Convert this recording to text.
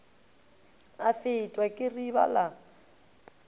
a fetwa ke riba la